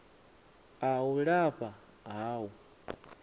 a u lafha ha u